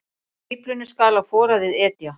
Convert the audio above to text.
Fíflinu skal á foraðið etja.